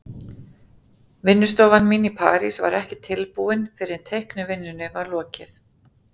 Vinnustofan mín í París var ekki tilbúin fyrr en teiknivinnunni var lokið.